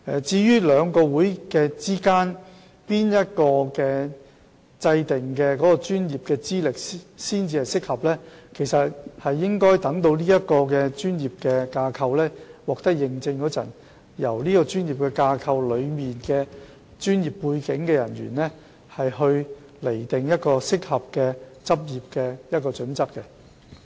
至於在兩個學會中，哪一個所訂的專業資歷才算適合，則應留待有關的專業架構獲得認證，然後交由當中具專業背景的會員釐定專業的執業準則。